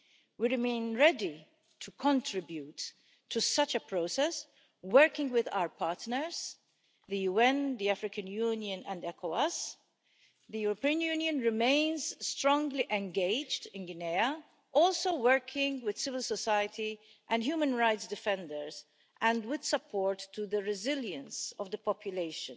We remain ready to contribute to such a process, working with our partners the UN, the African Union and ECOWAS. The European Union remains strongly engaged in Guinea, also working with civil society and human rights defenders and with support for the resilience of the population.